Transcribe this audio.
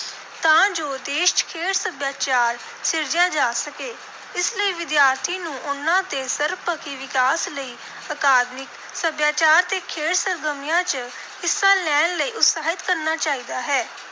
ਤਾਂ ਜੋ ਦੇਸ਼ ਚ ਖੇਡ ਸੱਭਿਆਚਾਰ ਸਿਰਜਿਆ ਜਾ ਸਕੇ। ਇਸ ਲਈ ਵਿਦਿਆਰਥੀ ਨੂੰ ਉਨ੍ਹਾਂ ਦੇ ਸਰਬਪੱਖੀ ਵਿਕਾਸ ਲਈ ਅਕਾਦਮਿਕ, ਸੱਭਿਆਚਾਰ ਤੇ ਖੇਡ ਸਰਗਰਮੀਆਂ ਚ ਹਿੱਸਾ ਲੈਣ ਲਈ ਉਤਸ਼ਾਹਿਤ ਕਰਨਾ ਚਾਹੀਦਾ ਹੈ।